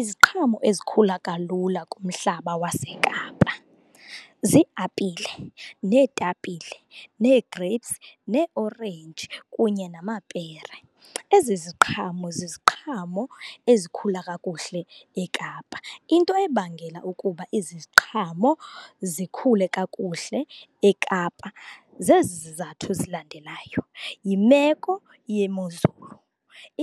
Iziqhamo ezikhula kalula kumhlaba waseKapa zii-apile, neetapile, nee-grapes, neeorange kunye namapere. Ezi ziqhamo ziziqhamo ezikhula kakuhle eKapa. Into ebangela ukuba ezi ziqhamo zikhule kakuhle eKapa zezi zizathu zilandelayo, yimeko yemozulu.